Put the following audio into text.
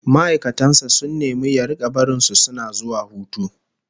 Ma'aikatan sa sun nemi ya rika barin su suna zuwa hutu